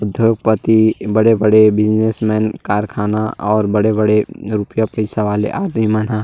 उधोग पति बड़े-बड़े बिज़नेसमेन कारखाना और बड़े-बड़े रूपया पइसा वाले आदमी मन ह --